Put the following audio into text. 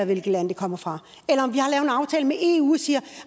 hvilket land de kommer fra eller